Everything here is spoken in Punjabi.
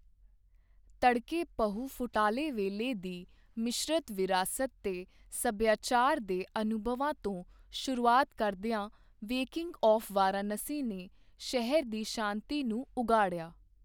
ਤੜਕੇ ਪਹੁ ਫੁਟਾਲੇ ਵੇਲੇ ਦੀ ਮਿਸ਼ਰਤ ਵਿਰਾਸਤ ਤੇ ਸੱਭਿਆਚਾਰ ਦੇ ਅਨੁਭਵਾਂ ਤੋਂ ਸ਼ੁਰੂਆਤ ਕਰਦਿਆਂ ਵੇਕਿੰਗ ਆੱਫ ਵਾਰਾਣਸੀ ਨੇ ਸ਼ਹਿਰ ਦੀ ਸ਼ਾਂਤੀ ਨੂੰ ਉਘਾੜਿਆ।